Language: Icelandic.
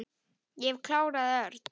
Ég hef klárað Örn.